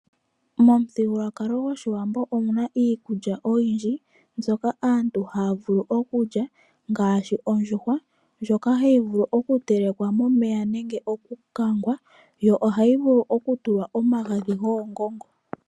Omuthigululwakalo gwAawambo ogu na iikulya oyindji mbyoka aantu haya vulu okulya ngaashi ondjuhwa ndjoka hayi vulu okutelekwa momeya nenge okukangwa yo ohayi vulu okutulwa omagadhi goongongo.